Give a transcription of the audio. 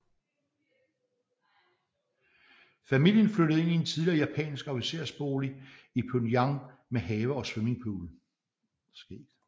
Familien flyttede ind i en tidligere japansk officersbolig i Pyongyang med have og svimmingpool